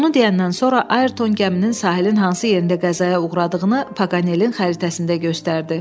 Bunu deyəndən sonra Ayrton gəminin sahilin hansı yerində qəzaya uğradığını Paqanelin xəritəsində göstərdi.